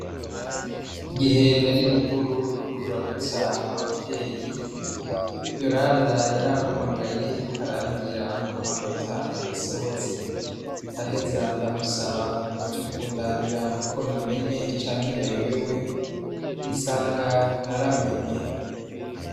Igihe nari ruguru kuramutsa abavyeyi yoranda yarampamagaye arambwira ko amanota yasohotse ndaheza ndamusaba ngo aje kundabira ko namenye canke nayobewe sanga naramenye.